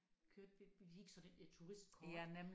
Kørte vi vi fik sådan et et turistkort